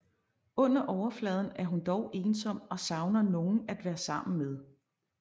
Under overfladen er hun dog ensom og savner nogen at være sammen med